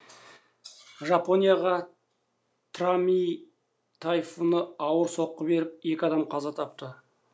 жапонияға трами тайфуны ауыр соққы беріп екі адам қаза тапты